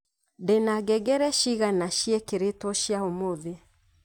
ndina ngengere cigana ciekeretwo cia umuthi